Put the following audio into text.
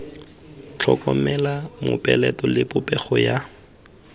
tlhokomela mopeleto le popego ya